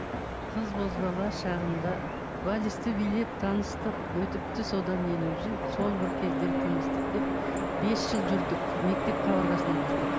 қыз бозбала шағымда вальсті билеп таныстық өтіпті содан елу жыл сол бір кездер тым ыстық деп бес жыл жүрдік мектеп қабырғасынан бастап